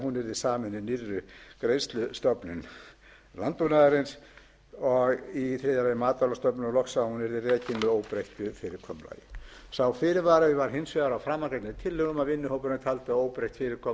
sameinuð nýrri greiðslustofnun landbúnaðarins og í þriðja lagi matvælastofnun og loks að hún yrði rekin með óbreyttu fyrirkomulagi sá fyrirvari var hins vegar á framangreindum tillögum að vinnuhópurinn taldi að óbreytt fyrirkomulag á rekstri